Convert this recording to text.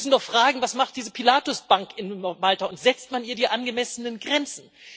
Wir müssen doch fragen Was macht diese Pilatus Bank in Malta, und setzt man ihr die angemessenen Grenzen?